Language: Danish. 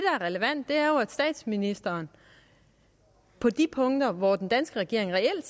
er relevant er jo at statsministeren på de punkter hvor den danske regering reelt